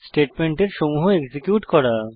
স্টেটমেন্টের সমূহ এক্সিকিউট করা